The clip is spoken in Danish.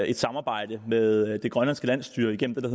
et samarbejde med det grønlandske landsstyre igennem det